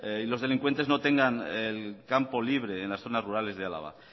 y los delincuentes no tengan el campo libre en las zonas rurales de álava